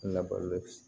Na balo